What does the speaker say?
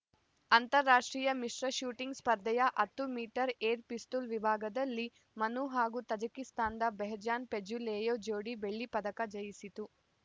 ಅಂತಾರಾಷ್ಟ್ರೀಯ ಮಿಶ್ರ ಶೂಟಿಂಗ್‌ ಸ್ಪರ್ಧೆಯ ಹತ್ತು ಮೀಟರ್ ಏರ್‌ ಪಿಸ್ತೂಲ್‌ ವಿಭಾಗದಲ್ಲಿ ಮನು ಹಾಗೂ ತಜಿಕಿಸ್ತಾನದ ಬೆಹ್ಜಾನ್‌ ಫೇಜುಲೆಯೆವ್‌ ಜೋಡಿ ಬೆಳ್ಳಿ ಪದಕ ಜಯಿಸಿತು